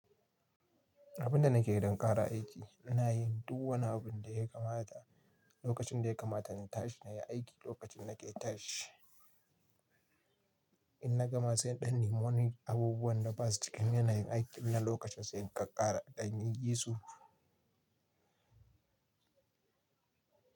Abinda nake don ƙara aiki, ina yin duk wani abun da ya kamata, lokacin da ya kamata na tashi na yi aiki lokacin na ke tashi. In na gama sai in ɗan nemi Moni abubuwan da ba su cikin yanayin aiki na lokacin sai in ƙaƙara ɗanin yi su.